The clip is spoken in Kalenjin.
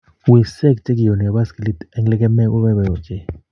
Wiseek che kionei boskilii eng lekemee koboiboi ochei.